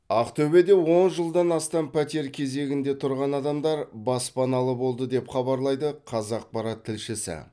ақтөбеде он жылдан астам пәтер кезегінде тұрған адамдар баспаналы болды деп хабарлайды қазақпарат тілшісі